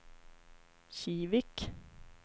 Kivik